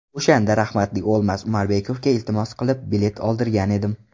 O‘shanda rahmatli O‘lmas Umarbekovga iltimos qilib bilet oldirgan edim.